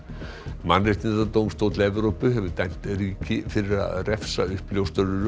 mannréttindadómstóll Evrópu hefur dæmt ríki fyrir að refsa uppljóstrurum